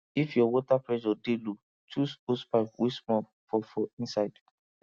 if your water pressure dey low choose hosepipe wey small for for inside